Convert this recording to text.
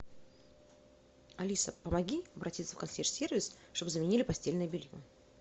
алиса помоги обратиться в консьерж сервис чтобы заменили постельное белье